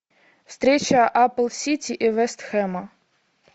встреча апл сити и вест хэма